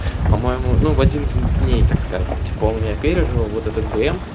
по-моему ну в один из дней так скажем типа он меня пережил вот этот бм